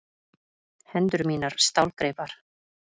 Hendur mínar stálgreipar.